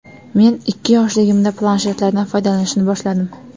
Men ikki yoshligimda planshetlardan foydalanishni boshladim.